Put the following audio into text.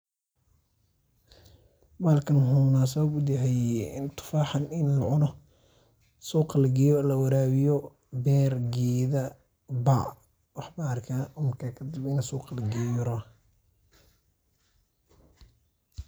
Bahalkan waxauu unasab u yahay, tofaxan ini lacunoh, suqa lageeyoh lawarabiyoh, beer Geetha iyo marka kadib suqa lageeyoh .